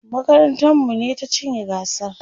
makarantar mu ne ta cinye gasar